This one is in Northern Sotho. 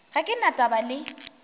ga ke na taba le